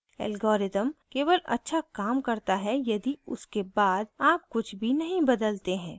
algorithm केवल अच्छा काम करता है यदि उसके बाद आप कुछ भी नहीं बदलते हैं